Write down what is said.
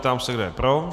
Ptám se, kdo je pro.